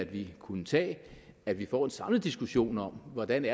vi kunne tage at vi får en samlet diskussion om hvordan det